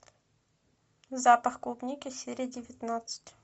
запах клубники серия девятнадцать